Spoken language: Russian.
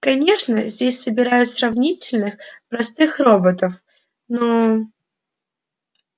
конечно здесь собирают сравнительно простых роботов но